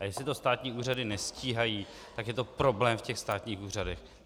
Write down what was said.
A jestli to státní úřady nestíhají, tak je to problém v těch státních úřadech.